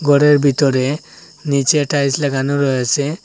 গরের বিতরে নীচে টাইলস লাগানো রয়েছে।